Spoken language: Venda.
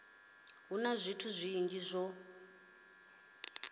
hu na zwithu zwinzhi zwo